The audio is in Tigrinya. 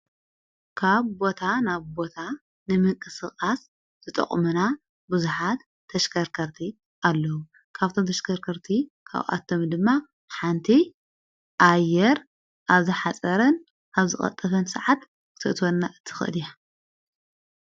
ካብ ቦታ ናብ ቦታ ንምንቂ ሥቕቓስ ዘጠቕምና ብዙኃድ ተሽከርከርቲ ኣለዉ ካብቶም ተሽከርከርቲ ካብኣቶም ድማ ሓንቲ ኣየር ኣብዝሓፀረን ኣብ ዝቐጠፈን ሰዓት ክተእትወና እትኸድያ::